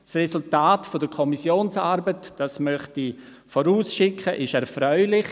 Das Resultat der Kommissionsarbeit – das möchte ich vorausschicken – ist erfreulich: